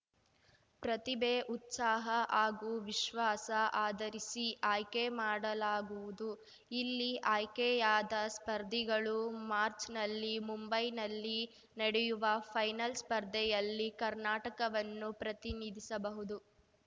ಪ್ರತಿಭೆ ಉತ್ಸಾಹ ಹಾಗೂ ವಿಶ್ವಾಸ ಆಧರಿಸಿ ಆಯ್ಕೆ ಮಾಡಲಾಗುವುದು ಇಲ್ಲಿ ಆಯ್ಕೆಯಾದ ಸ್ಪರ್ಧಿಗಳು ಮಾಚ್‌ರ್‍ನಲ್ಲಿ ಮುಂಬೈನಲ್ಲಿ ನಡೆಯುವ ಫೈನಲ್ಸ್ ಸ್ಪರ್ಧೆಯಲ್ಲಿ ಕರ್ನಾಟಕವನ್ನು ಪ್ರತಿನಿಧಿಸಬಹುದು